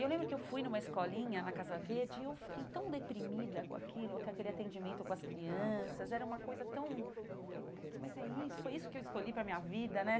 E eu lembro que eu fui numa escolinha na Casa Verde, e eu fiquei tão deprimida com aquilo, com aquele atendimento com as crianças, era uma coisa tão... Falei, putz, mas é isso, foi isso que eu escolhi para minha vida, né?